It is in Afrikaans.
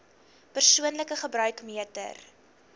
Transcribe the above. persoonlike gebruik meter